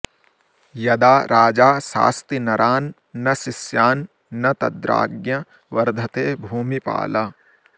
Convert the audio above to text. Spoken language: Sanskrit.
यदा राजा शास्ति नरान्नशिष्यान् न तद्राज्ञ्य वर्धते भूमिपाल